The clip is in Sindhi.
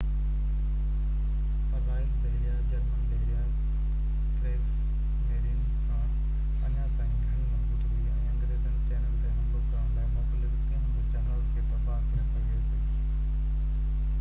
پر رائل بحريه، جرمن بحريه ڪريگس ميرين” کان اڃا تائين گهڻي مضبوط هئي ۽ انگريزي چينل تي حملو ڪرڻ لاءِ موڪليل ڪنهن به جهاز کي تباهه ڪري سگهي پئي